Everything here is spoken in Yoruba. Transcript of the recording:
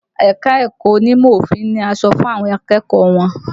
Ẹ̀ka-ẹ̀kọ onímọ̀ òfin ni aṣọ fún àwọn akẹ́kọ̀ọ́ wọn